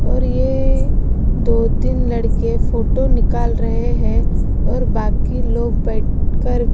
और यह दो-तीन लड़के फोटो निकाल रहे हैं और बाकी लोग बैठकर--